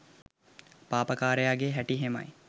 පාපකාරයාගේ හැටි එහෙමයි